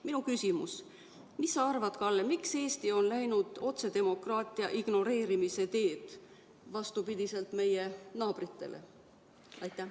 " Minu küsimus: mis sa arvad, Kalle, miks Eesti on läinud otsedemokraatia ignoreerimise teed, vastupidiselt meie naabritele?